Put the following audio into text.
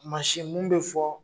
Masin mun be fɔ